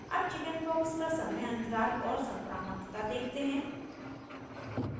अब chickenpox का समयअंतराल और संक्रामकता देखते हैं